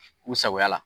U sagoya la